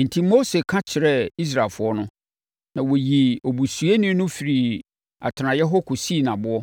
Enti Mose kasa kyerɛɛ Israelfoɔ no, na wɔyii obusuyɛni no firii atenaeɛ hɔ kɔsii no aboɔ.